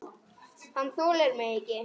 Hann þolir mig ekki.